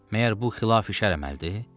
Məyər bu xilaf-i şər əməldir?